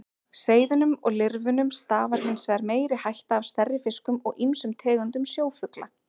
Seiðunum og lirfunum stafar hins vegar meiri hætta af stærri fiskum og ýmsum tegundum sjófugla.